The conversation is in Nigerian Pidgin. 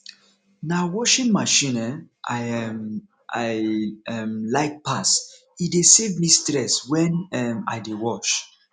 na washing machine um i um i um like pass e dey save me stress when um i dey wash